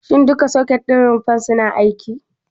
Shin duka soket ɗin rumfar suna aiki?